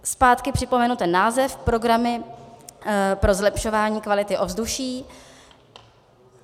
Zpátky připomenu ten název - programy pro zlepšování kvality ovzduší.